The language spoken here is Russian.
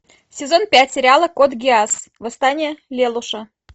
сезон пять сериала код гиас восстание лелуша